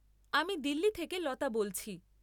আমি দিল্লি থেকে লতা বলছি।